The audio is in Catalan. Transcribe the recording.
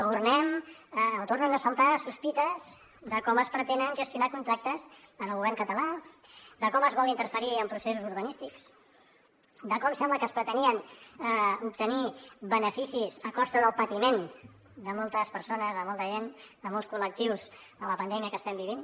tornen a saltar sospites de com es pretenen gestionar contractes en el govern català de com es vol interferir en processos urbanístics de com sembla que es pretenien obtenir beneficis a costa del patiment de moltes persones de molta gent de molts col·lectius en la pandèmia que estem vivint